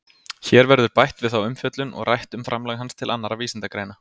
Hér verður bætt við þá umfjöllun og rætt um framlag hans til annarra vísindagreina.